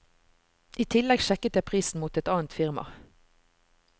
I tillegg sjekket jeg prisen mot et annet firma.